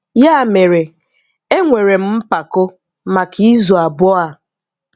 Yà mèrè, ènwèrè m̀ mpàkò̀ maka izù abụọ a.